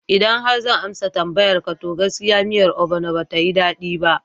Idan har zan amsa tambayan ka, to gaskiya miyar obono batayi daɗi ba